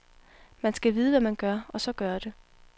Man skal vide, hvad man gør, og så gøre det.